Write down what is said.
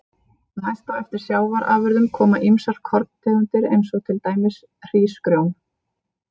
Næst á eftir sjávarafurðum koma ýmsar korntegundir eins og til dæmis hrísgrjón.